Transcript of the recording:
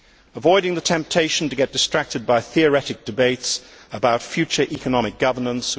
Avoiding the temptation to become distracted by theoretic debates about future economic governance.